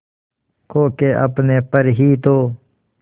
खो के अपने पर ही तो